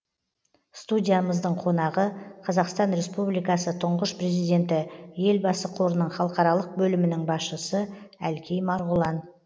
студиямыздың қонағы қазақстан республикасы тұңғыш президенті елбасы қорының халықаралық бөлімінің басшысы әлкей марғұлан